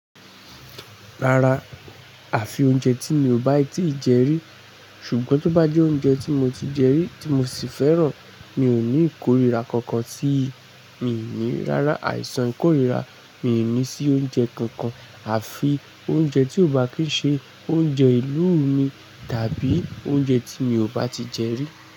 Rárá, àfi oúnjẹ tí mi ò bá tíì jẹ rí, ṣùgbọ́n tó bá jẹ́ oúnjẹ tí mo ti jẹ rí tí mo sì fẹ́ràn, mi ò ní ìkórìíra kankan sí i. Mí ò ní rárá àìsàn ìkórìíra, mi ò ní sí oúnjẹ kankan àfi oúnjẹ tí ò bá kí ń ṣe oúnjẹ ìlú mi tàbí oúnjẹ tí mi ò bá ti jẹ rí.